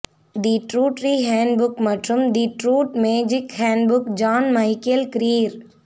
தி Druidry handbook மற்றும் the Druid magic handbook John Michael Greer